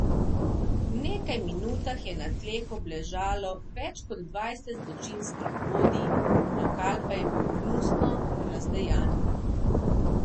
V nekaj minutah je na tleh obležalo več kot dvajset zločinskih vodij, lokal pa je bil gnusno razdejan.